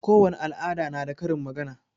Kowani al'ada na da karin magana.